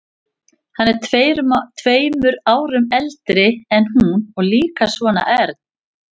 Hann er tveimur árum eldri en hún og líka svona ern.